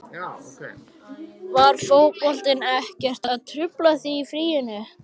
Var fótboltinn ekkert að trufla þig þá í fríinu?